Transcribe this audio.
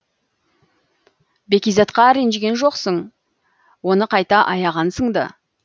бәкизатқа ренжіген жоқсың оны қайта аяғансың ды